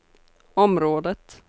området